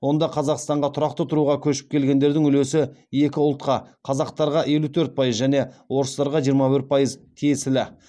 онда қазақстанға тұрақты тұруға көшіп келгендердің үлесі екі ұлтқа қазақтарға және орыстарға тиесілі